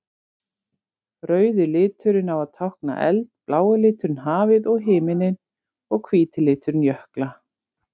Rauði liturinn á að tákna eld, blái liturinn hafið og himininn og hvíti liturinn jökla.